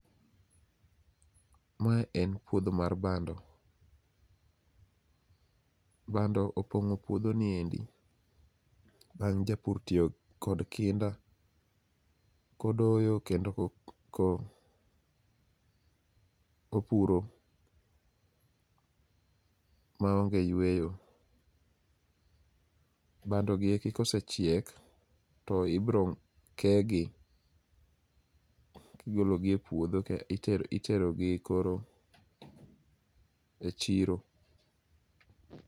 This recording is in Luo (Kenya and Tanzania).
Ma en puodho mar bando, bando opong'o puodho niendi bang' japur tiyo kod kinda kodoyo kendo ko puro maonge yueyo. Bando gieki ka osechiek to ibiro kegi kigologi e puodho ka itero gi e chiro